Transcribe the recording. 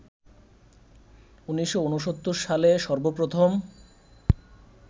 ১৯৬৯ সালে সর্বপ্রথম